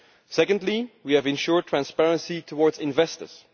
Second, we have ensured transparency towards investors.